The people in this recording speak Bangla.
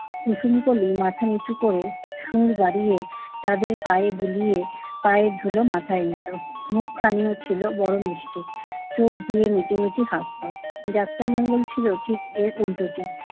কুসুমকলি মাথা নিচু করে সুড় বাড়িয়ে তাদের পায়ে বুলিয়ে পায়ের ধুলো মাথায় নিতো। মুখখানিও ছিল বড় মিষ্টি। চোখ দিয়ে মিটিমিটি হাসতো। যাত্রা মঙ্গল ছিল ঠিক এর উল্টোটি।